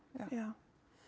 já